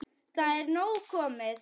Það er nóg komið.